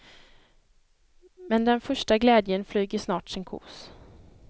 Men den första glädjen flyger snart sin kos.